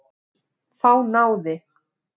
Þá náði